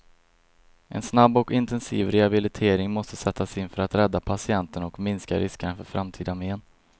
En snabb och intensiv rehabilitering måste sättas in för att rädda patienten och minska riskerna för framtida men.